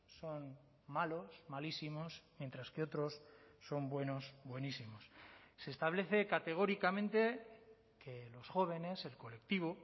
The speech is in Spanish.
son malos malísimos mientras que otros son buenos buenísimos se establece categóricamente que los jóvenes el colectivo